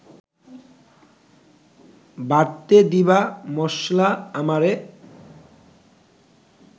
বাটতে দিবা মশলা আমারে